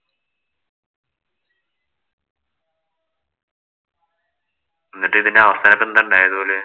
എന്നിട്ട് ഇതിന്‍റെ അവസാനം എന്താ ഇണ്ടായത് പോലെ.